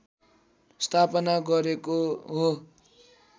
स्थापना गरेको हो